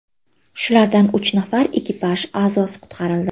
Shulardan uch nafar ekipaj a’zosi qutqarildi.